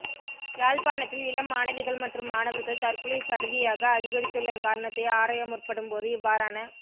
யாழ்ப்பாணத்தில் இளம் மாணவிகள் மற்றும் மாணவர்கள் தற்கொலை சடுதியாக அதிகரித்துள்ள காரணத்தை ஆராயமுற்படும் போது இவ்வாறான